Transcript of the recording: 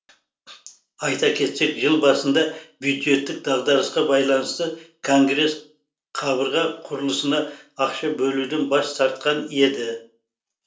айта кетсек жыл басында бюджеттік дағдарысқа байланысты конгресс қабырға құрылысына ақша бөлуден бас тартқан еді